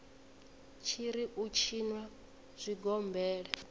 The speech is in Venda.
tshi ri u tshinwa zwigombela